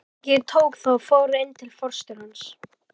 Ég tók það og fór inn til forstjórans.